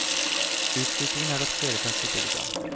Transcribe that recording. Utviklingen har tatt kvelertak på bygda.